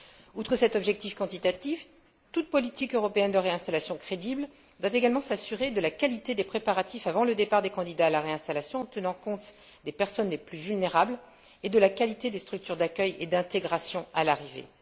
Outre cet objectif quantitatif, toute politique européenne de réinstallation crédible doit également s'assurer de la qualité des préparatifs avant le départ des candidats à la réinstallation, en tenant compte des personnes les plus vulnérables, et de la qualité des structures d'accueil et d'intégration à l'arrivée.